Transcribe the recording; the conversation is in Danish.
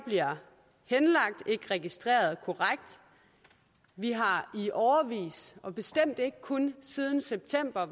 bliver ikke registreret korrekt vi har i årevis er bestemt ikke kun siden september